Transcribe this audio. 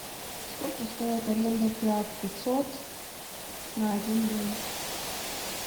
сколько стоит аренда фиат пятьсот на один день